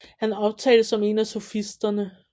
Han omtales som en af sofisterne